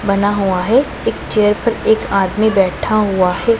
बना हुआ हैं एक चेयर पर एक आदमी बैठा हुआ हैं।